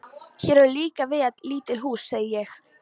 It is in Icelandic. Hér eru líka víða lítil hús., segi ég.